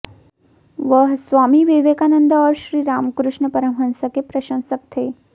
वह स्वामी विवेकानंद और श्री रामकृष्ण परमहंस के प्रशंसक थे